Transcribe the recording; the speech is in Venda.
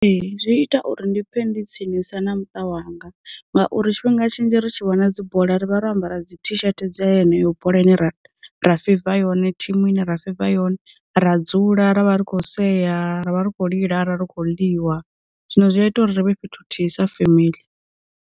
Ee, zwi ita uri ndi pfhe ndi tsinisa na muṱa wanga, ngauri tshifhinga tshinzhi ri tshi vhona dzi bola ri vha ro ambara dzi thi shete dza yeneyo bola ine ra ra feiva yone, thimu ine ra feiva, yone ra dzula ravha ri kho seya ra vha ri khou lila ri kho ḽiwa zwino zwi a ita uri ri vhe fhethu thithisa femeḽi.